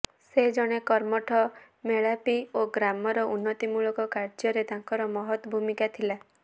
ସେ ଜଣେ କର୍ମଠ ମେଲାପି ଓ ଗ୍ରାମର ଉନ୍ନତି ମୂଳକ କାର୍ଯ୍ୟରେ ତାଙ୍କର ମହତ୍ ଭୂମିକା ଥିଲା